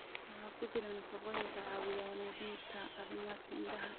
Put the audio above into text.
Waxa ku jira nafaqooyin caawiya wanaajinta caafimaadka indhaha.